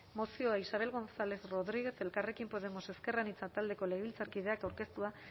mozioa isabel gonzález rodríguez elkarrekin podemos iu taldeko legebiltzarkideak aurkeztua